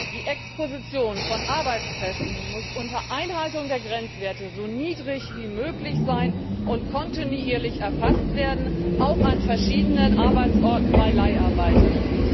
Die Exposition von Arbeitskräften muss unter Einhaltung der Grenzwerte so niedrig wie möglich sein und kontinuierlich erfasst werden, auch an verschiedenen Arbeitsorten bei Leiharbeitskräften.